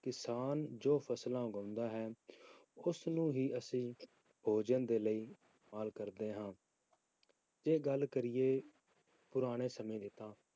ਕਿਸਾਨ ਜੋ ਫਸਲਾਂ ਉਗਾਉਂਦਾ ਹੈ, ਉਸਨੂੰ ਹੀ ਅਸੀਂ ਭੋਜਨ ਦੇ ਲਈ ਇਸਤੇਮਾਲ ਕਰਦੇ ਹਾਂ ਜੇ ਗੱਲ ਕਰੀਏ ਪੁਰਾਣੇ ਸਮੇਂ ਦੀ ਤਾਂ